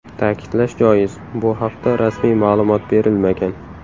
Ta’kidlash joiz, bu haqda rasmiy ma’lumot berilmagan.